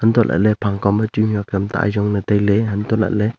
hantoh lah ley phang kaw ma chu mih huat tam ta ajong ley tai ley hantoh lah ley.